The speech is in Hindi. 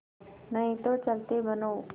नहीं तो चलते बनो